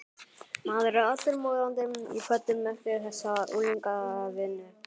Maður er allur morandi í pöddum eftir þessa unglingavinnu.